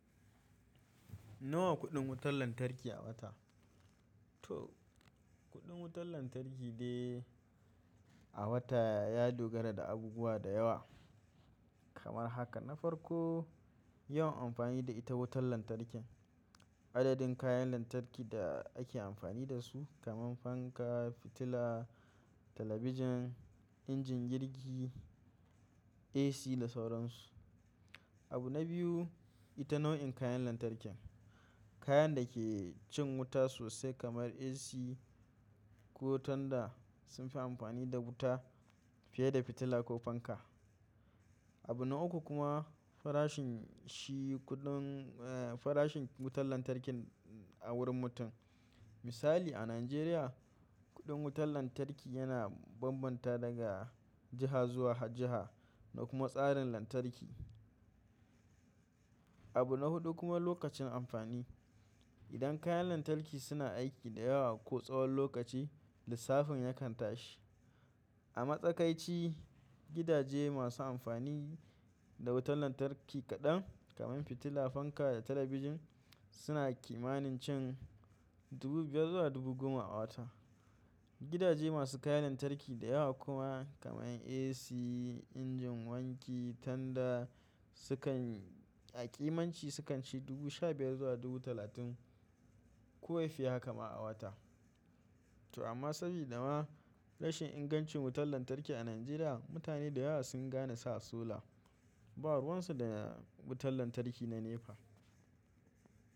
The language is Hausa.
Nawa kuɗin wutar lantarki a wata? To kuɗin wutar lantarki dai a wata ya dogara da abubuwa da yawa. Kamar haka na farko, yawan amfani da ita wutar lantarkin. Adadin kayan lantarki da ake amfani da su kamar fanka, fitila, talabijin, injin girki, AC da sauran su. Abu na biyu, ita nau'in kayan lantarkin. Kayan da ke cin wuta sosai kamar AC ko tunda sun fi amfani da wuta fiye da fitila ko fanka. Abu na uku kuma farashin shi kuɗin, farashin wutar lantarkin a wurin mutum. Misali a Najeriya, kuɗin wutar lantarki yana bambanta daga jiha zuwa jiha da kuma tsarin lantarki. Abu na hudu kuma lokacin amfani. Idan kayan lantarki suna aiki da yawa ko tsawon lokaci, lissafin yakan tashi. A matsakaici gidaje masu amfani da wutar lantarki kaɗan kamar fitila, fanka da talabijin suna kimanin cin dubu biyar zuwa dubu goma a wata. Gidaje masu kayan lantarki da yawa kuma kamar AC, injin wanki, tanda sukan a kimanci sukan ci dubu shabiyar zuwa dubu talatin ko ya fi haka ma a wata. To amma sabida ma rashin ingancin wutar lantarki a Najeriya, mutane da yawa sun gane sa sola. Ba ruwan su da wutar lantarki na NEPA.